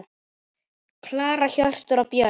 Klara, Hjörtur og börn.